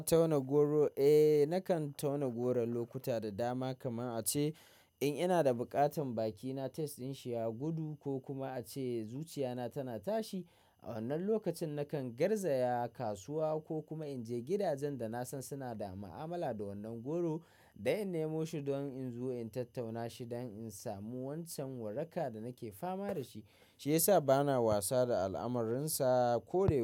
Na tauna goro? Eh, nakan tauna goro lokuta da dama. Kaman a ce in ina da buƙatan bakina, taste din shi ya gudu ko kuma a ce zuciya na tana tashi. A wannan lokacin nakan garzaya kasuwa ko kuma in je gidajen da na san suna da ma'amala da wannan goro, da in nemo shi don in zo in tattauna shi don in samu wancan waraka da nake fama da shi, shi yasa bana wasa da al'amarrinsa ko dai.